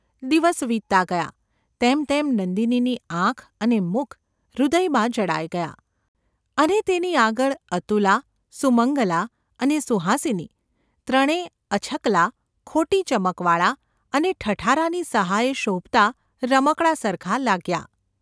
દિવસ વીતતા ​ ગયા તેમ તેમ નંદિનીની આંખ અને મુખ હૃદયમાં જડાઈ ગયાં અને તેની આગળ અતુલા, સુમંગલા અને સુહાસિની ત્રણે અછકલાં, ખોટી ચમકવાળાં અને ઠઠારાની સહાયે શોભતાં રમકડાં સરખાં લખ્યાં.